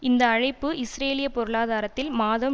இந்த அழைப்பு இஸ்ரேலிய பொருளாதாரத்தில் மாதம்